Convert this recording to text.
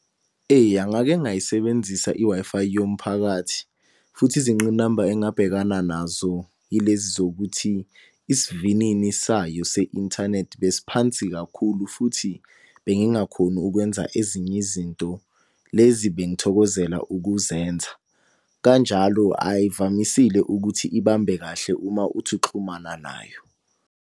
Eya ngake ngayisebenzisa i-Wi-Fi yomphakathi. Futhi izingqinamba engabhekana nazo yilezi zokuthi isivinini sayo se-inthanethi besi phansi kakhulu futhi, bengingakhoni ukwenza ezinye izinto lezi bengithokozela ukuzenza. Kanjalo ayivamisile ukuthi ibambe kahle uma uthi uxhumana nayo.